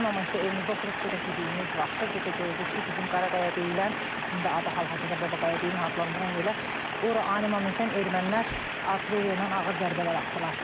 Ani momentdə evimizdə oturub çörək yediyimiz vaxtı, bir də gördük ki, bizim Qaraqaya deyilən, indi adı hal-hazırda Babagaya deyilən adlandıran yerə, ora ani momentdən ermənilər artilleriya ilə ağır zərbələr atdılar.